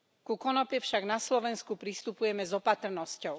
Ku konope však na Slovensku pristupujeme s opatrnosťou.